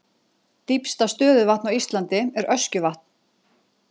Dýpsta stöðuvatn á Íslandi er Öskjuvatn.